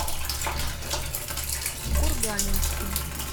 курганинску